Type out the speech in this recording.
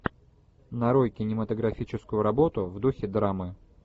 нарой кинематографическую работу в духе драмы